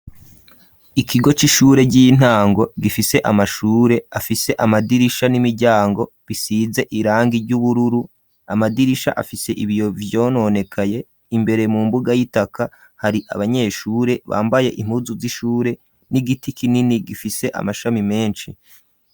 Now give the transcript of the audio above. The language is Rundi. Ikigo c'ishure ry'intango gifise amashure afise amadirisha n'imiryango bisize irangi ry'ubururu, amadirisha afise ibiyo vyononekaye, imbere mu mbuga y'itaka hari abanyeshure bambaye impuzu z'ishure n'igiti kinini gifise amashami menshi.